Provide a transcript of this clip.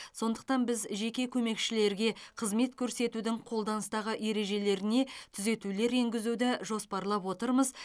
сондықтан біз жеке көмекшілерге қызмет көрсетудің қолданыстағы ережелеріне түзетулер енгізуді жоспарлап отырмыз